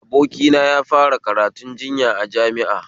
Abokina yafara karatun jinya a jami'a